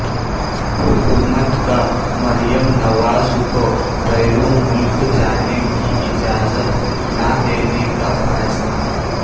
حکومت کا مریم نواز کو بیرون ملک جانے کی اجازت نہ دینے کا فیصلہ